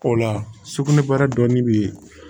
O la sugunɛbara dɔɔni bɛ yen